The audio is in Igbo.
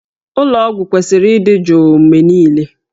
Ụlọ ọgwụ kwesịrị ịdị jụụ mgbe niile